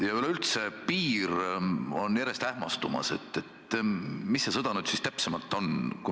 Ja üleüldse, järjest on ähmastumas piir, mis see sõda nüüd siis täpsemalt on.